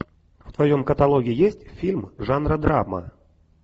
в твоем каталоге есть фильм жанра драма